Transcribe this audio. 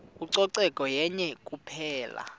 ucoceko yenye kuphela